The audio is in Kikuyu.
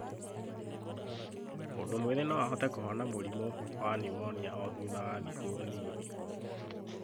Mũndũ mwĩthĩ no ahote kũhona mũrimũ wa pneumonia o thutha wa thikũ nini.